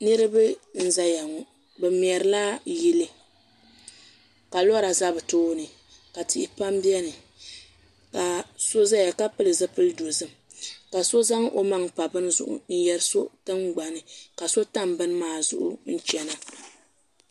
Niriba n ʒeya ŋɔ. Bɛ merila yili ka lora za be tooni. ka tihi pam beni ka so ʒɛya ka pili zipil dozim ka so zaŋ o maŋ pa beni zuɣu n yɛrj so tingbani ka so tam beni maa zuɣu n chana.